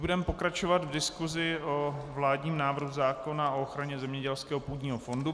Budeme pokračovat v diskusi o vládním návrhu zákona o ochraně zemědělského půdního fondu.